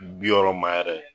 Bi wɔɔrɔ ma yɛrɛ